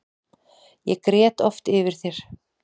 Ég grét oft yfir þér.